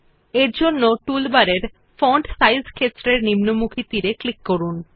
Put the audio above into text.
এরজন্য টুলবারের font size ক্ষেত্রের নিম্নমুখী তীর এ ক্লিক করুন